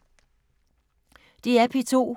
DR P2